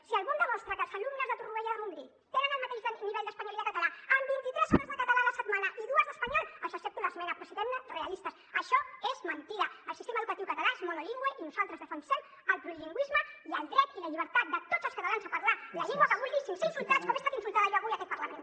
si algú em demostra que els alumnes de torroella de montgrí tenen el mateix nivell d’espanyol i de català amb vint i tres hores de català a la setmana i dues d’espanyol els accepto l’esmena però siguem realistes això és mentida el sistema educatiu català és monolingüe i nosaltres defensem el plurilingüisme i el dret i la llibertat de tots els catalans a parlar la llengua que vulguin sense ser insultats com he estat insultada jo avui en aquest parlament